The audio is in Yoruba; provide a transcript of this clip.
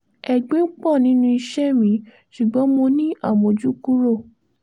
ẹ̀gbin pọ̀ nínú iṣẹ́ mi ṣùgbọ́n mo ní àmójúkúrò